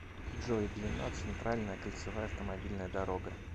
джой длина центральная кольцевая автомобильная дорога